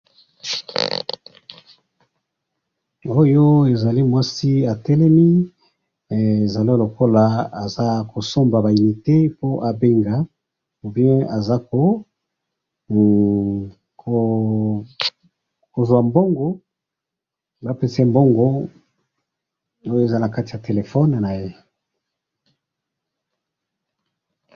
oyo ezali mwasi atelemi he ezali lokola aza kosomba ba unite po abenga nde azo ko kozwa mbongo oyo eza na kati ya telephone naye.